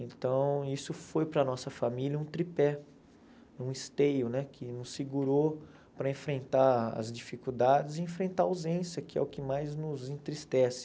Então, isso foi para a nossa família um tripé, um esteio, né que nos segurou para enfrentar as dificuldades e enfrentar a ausência, que é o que mais nos entristece.